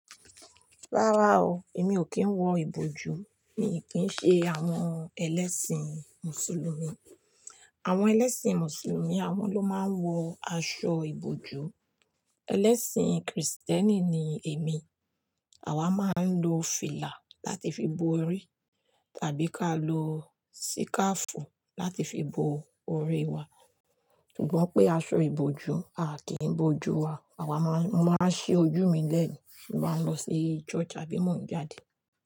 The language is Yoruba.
Rárá o, èmi ò kí ń wọ ìbòjú, mi ò kín ṣe àwọn ẹlẹ́sìn mùsùlùmí. Àwọn ẹlẹ́sìn mùsùlùmí àwọn ló máa ń wọ aṣọ ìbòjú. Ẹlẹ́sìn kìrìsìtẹ́nì ni èmi. Àwa máa ń lo fìlà láti fi bo orí tàbí ká lọ síkáfù láti fi bo orí wa. Ṣùgbọ́n pé aṣọ ìbòjú à kí ń bo ojú wa. Àwa máa ń ṣe ojú mi lẹ́ẹ̀ ni tí màá lọ sí church tàbí mò ń jáde.